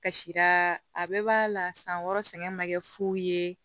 Kasira a bɛɛ b'a la san wɔɔrɔ sɛgɛn ma kɛ fu ye